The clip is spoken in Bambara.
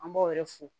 An b'o yɛrɛ fo